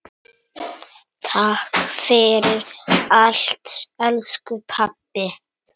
Takk fyrir allt, elsku pabbi.